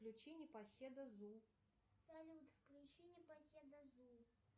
включи непоседа зу салют включи непоседа зу